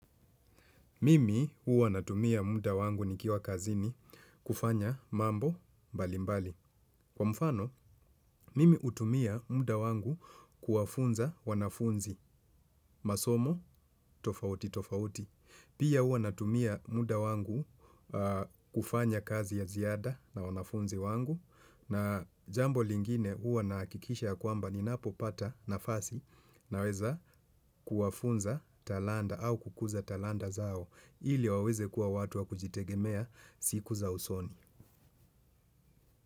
Mimi huwa natumia muda wangu nikiwa kazini kufanya mambo mbali mbali. Kwa mfano, mimi hutumia muda wangu kuwafunza wanafunzi masomo tofauti tofauti. Pia huwa natumia muda wangu kufanya kazi ya ziada na wanafunzi wangu. Na jambo lingine huwa nahakikisha kwamba ninapopata nafasi naweza kuwafunza talanta au kukuza talanta zao. Ili waweze kuwa watu wa kujitegemea siku za usoni.